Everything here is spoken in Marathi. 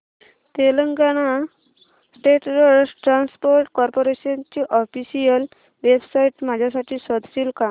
Telangana state road transport corporation ची ऑफिशियल वेबसाइट माझ्यासाठी शोधशील का